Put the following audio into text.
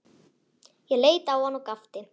Ég leit á hann og gapti.